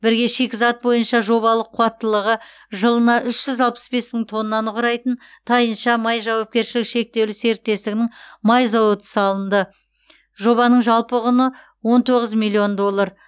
бірге шикізат бойынша жобалық қуаттылығы жылына үш жүз алпыс бес мың тоннаны құрайтын тайынша май жауапкершілігі шектеулі серікестігінің май зауыты салынды жобаның жалпы құны он тоғыз миллион доллар